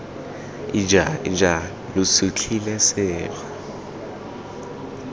ija ija lo sutlhile sekgwa